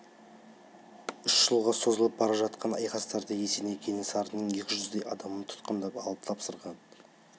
үш жылға созылып бара жатқан айқастарда есеней кенесарының екі жүздей адамын тұтқындап алып тапсырған